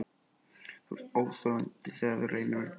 Þú ert óþolandi, þegar þú reynir að vera bjartsýnn.